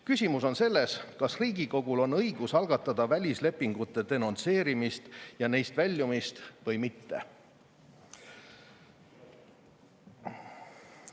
Küsimus on selles, kas Riigikogul on õigus algatada välislepingute denonsseerimist ja neist väljumist või mitte.